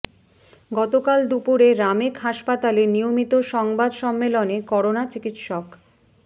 গতকাল দুপুরে রামেক হাসপাতালে নিয়মিত সংবাদ সম্মেলনে করোনা চিকিৎসক